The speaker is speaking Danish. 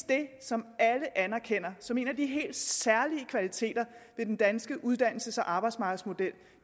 det som alle anerkender som en af de helt særlige kvaliteter ved den danske uddannelses og arbejdsmarkedsmodel